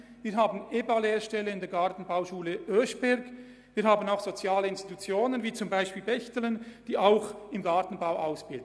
Wir haben EBA-Lehrstellen in der Gartenbauschule Oeschberg, und wir haben soziale Institutionen wie zum Beispiel die Stiftung Bächtelen, die auch im Gartenbau ausbilden.